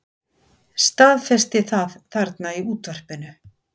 Staðfesti það þarna í útvarpinu.